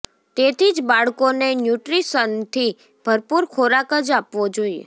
તેથી જ બાળકોને ન્યૂટ્રીશનથી ભરપુર ખોરાક જ આપવો જોઇએ